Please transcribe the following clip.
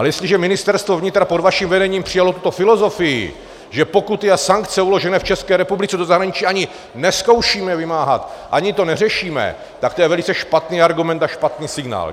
Ale jestliže Ministerstvo vnitra pod vaším vedením přijalo tuto filozofii, že pokuty a sankce uložené v České republice do zahraničí ani nezkoušíme vymáhat, ani to neřešíme, tak to je velice špatný argument a špatný signál.